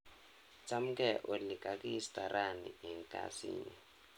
Chamgee Olly, kakiista rani eng kazinyu.